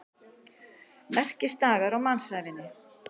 Merkisdagar á mannsævinni.